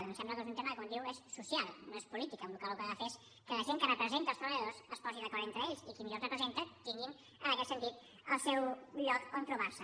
em sembla que és un tema que com diu és social no és polític amb la qual cosa el que ha de fer és que la gent que representa els treballadors es posi d’acord entre ells i qui millor els representa tingui en aquest sentit el seu lloc on trobar se